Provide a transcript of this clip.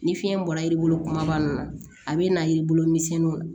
Ni fiɲɛ bɔra yiri bolo kumaba nunnu na a bɛ na yiri bolo misɛnniw